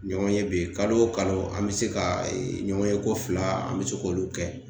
Ɲɔgɔnye bɛ kalo o kalo an bɛ se ka ɲɔgɔn ye ko fila an bɛ se k'olu kɛ